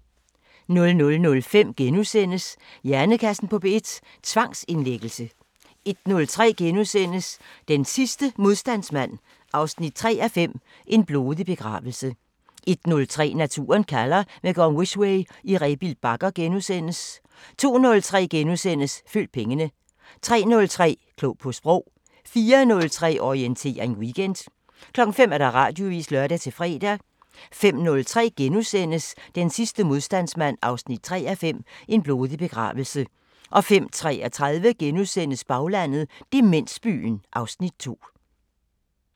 00:05: Hjernekassen på P1: Tvangsindlæggelse * 01:03: Den sidste modstandsmand 3:5 – En blodig begravelse * 01:30: Naturen kalder – med Gorm Wisweh i Rebild Bakker * 02:03: Følg pengene * 03:03: Klog på Sprog 04:03: Orientering Weekend 05:00: Radioavisen (lør-fre) 05:03: Den sidste modstandsmand 3:5 – En blodig begravelse * 05:33: Baglandet: Demensbyen (Afs. 2)*